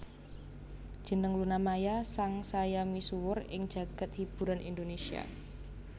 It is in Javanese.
Jeneng Luna Maya sang saya misuwur ing jagad hiburan Indonésia